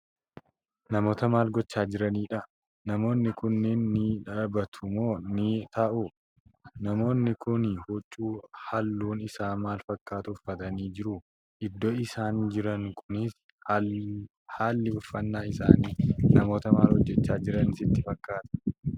Namoota maal gochaa jiraniidha?.namoonni kunniin ni dhaabatu moo ni taa'u?.namoonni Kuni huccuu halluun Isaa maal fakkaatu uffatanii jiru?.iddoon isaan jiranu Kunifi haalli uffannaa isaanii namoota maal hojjachaa Jiran sitti fakkaatan?